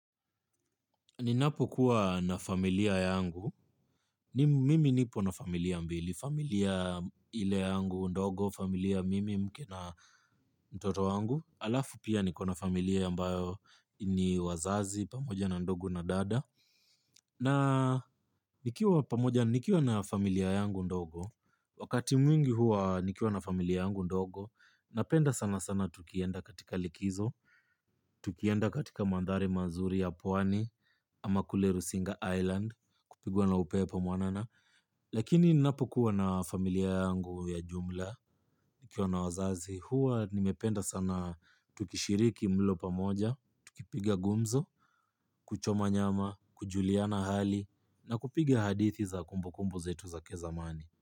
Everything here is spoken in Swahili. Ninapokuwa na familia yangu, mimi nipo na familia mbili, familia ile yangu ndogo, familia mimi, mke na mtoto wangu, halafu pia niko na familia ambayo ni wazazi, pamoja na ndugu na dada. Na nikiwa na familia yangu ndogo, wakati mwingi huwa nikiwa na familia yangu ndogo, napenda sana sana tukienda katika likizo, tukienda katika mandhari mazuri ya pwani ama kule Rusinga Island kupigwa na upepo mwanana. Lakini ninapokuwa na familia yangu ya jumla, nikiwa na wazazi, huwa nimependa sana. Tukishiriki mlo pamoja, tukipiga gumzo, kuchoma nyama, kujuliana hali, na kupiga hadithi za kumbu kumbu zetu za kizamani.